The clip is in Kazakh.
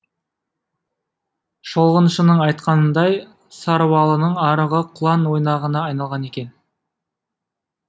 шолғыншының айтқанындай саруалының арығы құлан ойнағына айналған екен